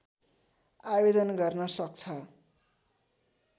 आवेदन गर्न सक्छ